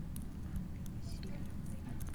анной васильевной